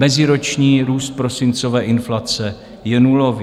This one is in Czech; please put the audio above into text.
Meziroční růst prosincové inflace je nulový.